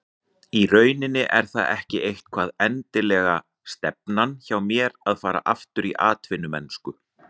Í rauninni er það ekki eitthvað endilega stefnan hjá mér að fara aftur í atvinnumennsku.